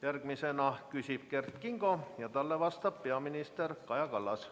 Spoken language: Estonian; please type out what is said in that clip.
Järgmisena küsib Kert Kingo ja talle vastab peaminister Kaja Kallas.